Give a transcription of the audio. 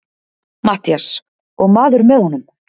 MATTHÍAS: Og maður með honum?